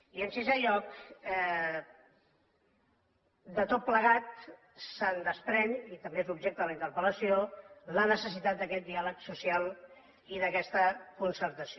i en sisè lloc de tot plegat se’n desprèn i també és l’objecte de la interpel·lació la necessitat d’aquest diàleg social i d’aquesta concertació